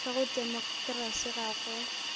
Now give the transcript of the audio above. ka go temokerasi ga go